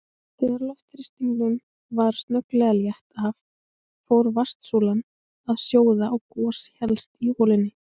Þegar loftþrýstingnum var snögglega létt af fór vatnssúlan að sjóða og gos hélst í holunni.